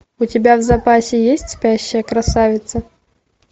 у тебя в запасе есть спящая красавица